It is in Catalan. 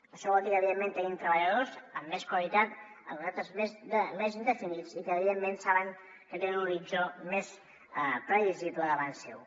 això vol dir que evidentment tenim treballadors amb més qualitat amb més contractes indefinits i que evidentment saben que tenen un horitzó més previsible davant seu